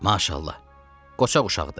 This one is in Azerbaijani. Maşallah, qoçaq uşaqdır.